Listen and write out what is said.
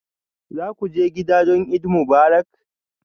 Za ku je gida don Eid Mubarak?